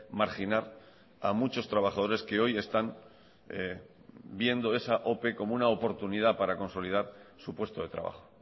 marginar a muchos trabajadores que hoy están viendo esa ope como una oportunidad para consolidar su puesto de trabajo